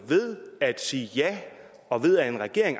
ved at sige ja og ved at en regering